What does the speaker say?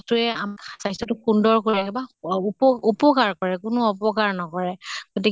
বস্তুয়ে আমাৰ স্বাস্থ্য়টো সুন্দৰ কৰি ৰাখে বা উপ উপ্কাৰ কৰে, কোনো অপকাৰ নকৰে। গতিকে